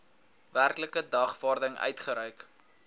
werklike dagvaarding uitgereik